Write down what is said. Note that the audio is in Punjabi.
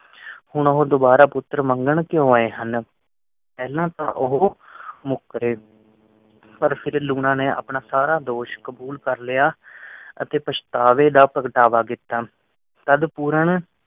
ਹੁਣ ਉਹ ਦੁਬਾਰਾ ਪੁੱਤਰ ਮੰਗਣ ਕਿਉਂ ਆਏ ਹਨ। ਏਨਾ ਤੋਂ ਉਹ ਮੁੱਕਰੇ ਪਰ ਫਿਰ ਲੂਣਾ ਨੇ ਆਪਣਾ ਸਾਰਾ ਦੋਸ਼ ਕਬੂਲ ਕਰ ਲਿਆ ਅਤੇ ਪਛਤਾਵੇ ਦਾ ਭਗਤਾਵਾ ਕੀਤਾ। ਤਦ ਪੂਰਨ